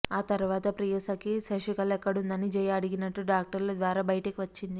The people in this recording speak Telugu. ఆ తరువాత ప్రియసఖి శశికళ ఎక్కడుందని జయ అడిగినట్టు డాక్టర్ల ద్వారా బయటికి వచ్చింది